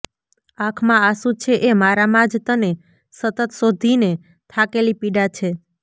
આંખમાં આંસુ છે એ મારામાં જ તને સતત શોધીને થાકેલી પીડા છે